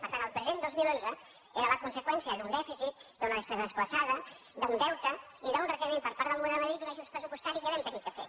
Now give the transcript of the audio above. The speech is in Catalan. per tant el present dos mil onze que era la conseqüència d’un dèficit d’una despesa desplaçada d’un deute i d’un requeriment per part del govern de madrid d’un ajust pressupostari que vam haver de fer